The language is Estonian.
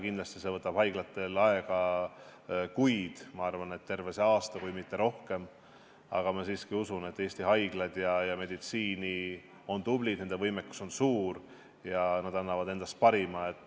Kindlasti võtab see haiglatel aega kuid, ma arvan, et terve see aasta kui mitte rohkem, aga ma siiski usun, et Eesti haiglad ja meditsiin on tublid, nende võimekus on suur ja nad annavad endast parima.